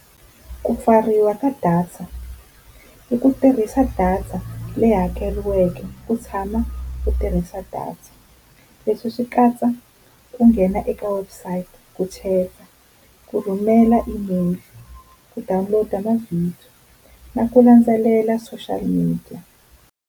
Ku pfariwa ka data i ku tirhisa data leyi hakeriweke u tshama u tirhisa data, leswi swi katsa ku nghena eka website, ku chat-a, ku rhumela email, ku download-a mavhidiyo na ku landzelela social media.